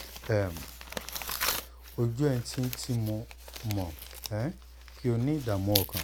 um ojú ẹ̀ ń tì tì mí mo mọ̀ um pé o ní ìdààmú ọkàn